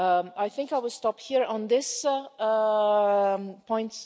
I think I will stop here on this point.